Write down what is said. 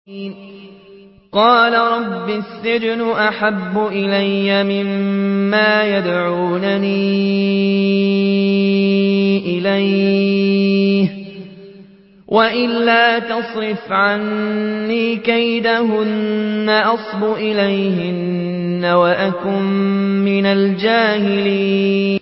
قَالَ رَبِّ السِّجْنُ أَحَبُّ إِلَيَّ مِمَّا يَدْعُونَنِي إِلَيْهِ ۖ وَإِلَّا تَصْرِفْ عَنِّي كَيْدَهُنَّ أَصْبُ إِلَيْهِنَّ وَأَكُن مِّنَ الْجَاهِلِينَ